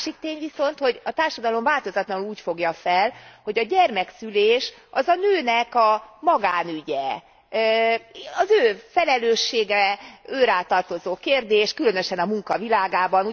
A másik tény viszont, hogy a társadalom változatlanul úgy fogja fel, hogy a gyermekszülés az a nőnek a magánügye, az ő felelőssége, őrá tartozó kérdés, különösen a munka világában.